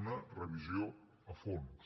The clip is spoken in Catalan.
una revisió a fons